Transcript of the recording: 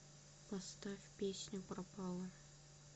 поставь песню пропала